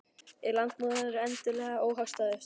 Er landbúnaðurinn endilega óhagstæðastur?